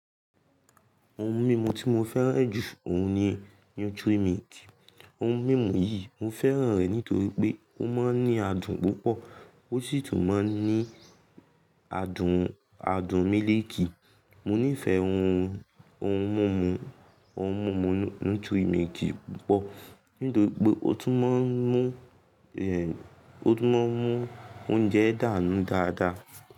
Ohun mímu tí mo fẹ́ràn jù ọ̀hún ni Nutrimilk. Ohun mímu yìí mo fẹ́ràn rẹ̀ nítorí pé ó máa ń ní adùn púpọ̀, ó sì tún máa ń ní adùn, adùn mílìkì. Mò nífẹ̀ẹ́ ohun, ohun mumu, ohun mumu Nutrimilk púpọ̀ nítorí pé ó tún máa ń mú, ẹ, ó tún máa ń mú oúnjẹ dànù dáadáa.